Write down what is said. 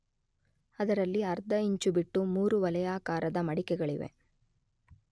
ಅದರಲ್ಲಿ 1/2ಇಂಚು ಬಿಟ್ಟು 3 ವಲಯಾಕಾರದ ಮಡಿಕೆಗಳಿವೆ.